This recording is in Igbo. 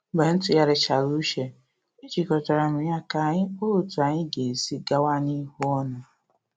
Mgbe m tụgharichara uche, e jikọtara m ya ka anyi kpaa otú anyị ga-esi gawa n’ihu ọnụ